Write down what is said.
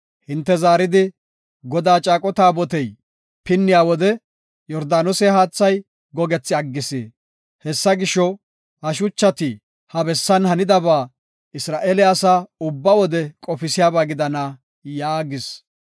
hinte zaaridi, ‘Godaa caaqo taabotey pinniya wode Yordaanose haathay gogethi aggis. Hessa gisho, ha shuchati ha bessan hanidaba Isra7eele asaa ubba wode qofisiyaba gidana’ ” yaagis.